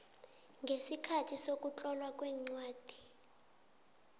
ngesikhathi sokutlolwa kwencwadi